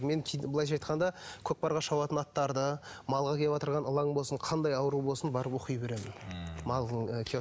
мен былайша айтқанда көкпарға шабатын аттарды малға кеватырған ылаң болсын қандай ауру болсын барып оқи беремін ммм малдың ы